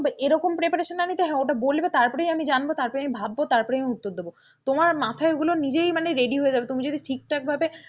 এরকম preparation না নিতে হ্যাঁ ওটা বলবে তারপরেই আমি জানব তারপরে আমি ভাববো তারপরে আমি উত্তর দেবো, তোমার মাথায় ওগুলো নিজেই মানে ready হয়ে যাবে তুমি যদি ঠিকঠাক ভাবে,